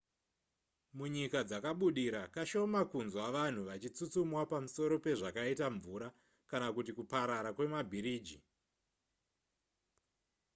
munyika dzakabudira kashoma kunzwa vanhu vachitsutsumwa pamusoro pezvakaita mvura kana kuti kuparara kwemabhiriji